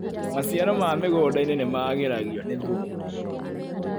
Maciaro ma mĩgundainĩ nĩmagĩragio nĩ thumu.